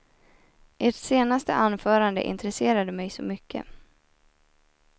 Ert senaste anförande intresserade mig så mycket.